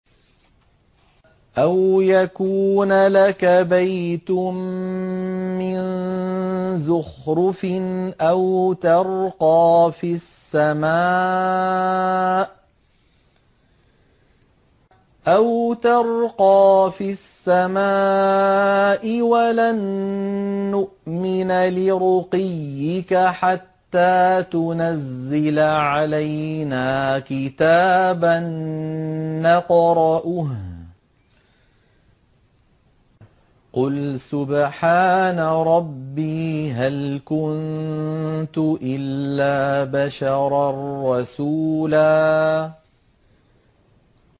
أَوْ يَكُونَ لَكَ بَيْتٌ مِّن زُخْرُفٍ أَوْ تَرْقَىٰ فِي السَّمَاءِ وَلَن نُّؤْمِنَ لِرُقِيِّكَ حَتَّىٰ تُنَزِّلَ عَلَيْنَا كِتَابًا نَّقْرَؤُهُ ۗ قُلْ سُبْحَانَ رَبِّي هَلْ كُنتُ إِلَّا بَشَرًا رَّسُولًا